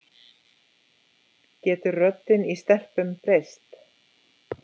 getur röddin í stelpum breyst